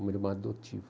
Uma irmã